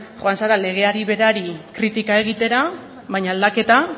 joan zara legeari berari kritika egitera baina aldaketa